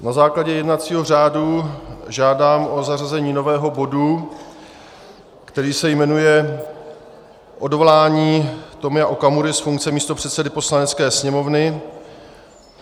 Na základě jednacího řádu žádám o zařazení nového bodu, který se jmenuje Odvolání Tomia Okamury z funkce místopředsedy Poslanecké sněmovny.